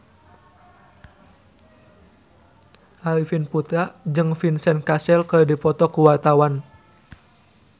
Arifin Putra jeung Vincent Cassel keur dipoto ku wartawan